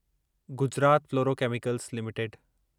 Gujarat fluorochemicals limited